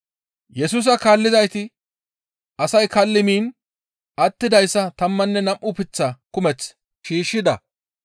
Yesusa kaallizayti asay kalli miin attidayssa tammanne nam7u leemate kumeth shiishshides.